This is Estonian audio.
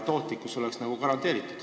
Tootlikkus oleks garanteeritud.